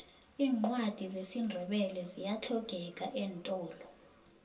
iincwadi zesindebele ziyahlogeka eentolo